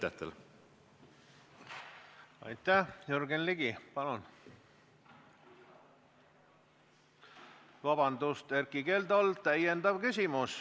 Erkki Keldol on täiendav küsimus.